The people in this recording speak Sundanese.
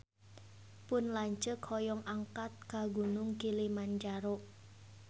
Pun lanceuk hoyong angkat ka Gunung Kilimanjaro